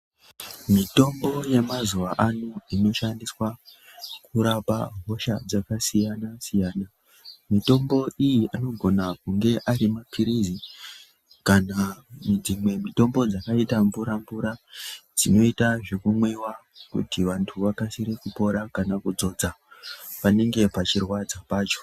Mitombo yamazuva ano inoshandiswa kurapa hosha dzakasiyana-siyana. Mitombo iyi anogone kunge ari maphirizi kana dzimwe mitombo dzakaita mvura-mvura dzinoita zvekumwiwa. Kuti vantu vakasire kupora kanakudzodza panenge pachirwadza pacho.